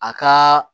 A ka